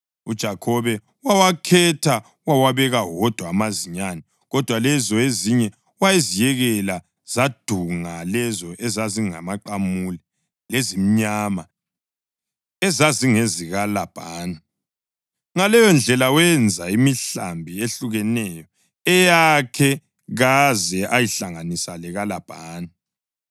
UJakhobe wawakhetha wawabeka wodwa amazinyane, kodwa lezo ezinye waziyekela zadunga lezo ezingamaqamule lezimnyama ezazingezikaLabhani. Ngaleyondlela, wenza imihlambi ehlukeneyo eyakhe kaze ayihlanganisa lekaLabhani.